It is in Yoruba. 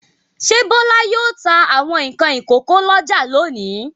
Ṣé Bọ́lá yóò ta àwọn nǹkan ìkókó lọ́jà lónìí?